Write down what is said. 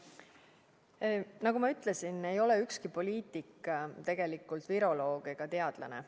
Nagu ma ütlesin, ei ole ükski poliitik tegelikult viroloog ega teadlane.